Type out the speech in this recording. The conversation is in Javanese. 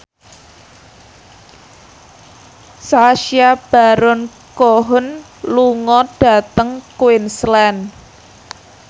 Sacha Baron Cohen lunga dhateng Queensland